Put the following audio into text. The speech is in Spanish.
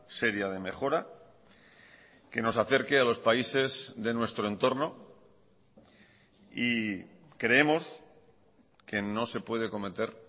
seria de mejora que nos acerque a los países de nuestro entorno y creemos que no se puede cometer